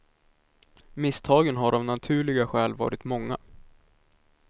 Misstagen har av naturliga skäl varit många.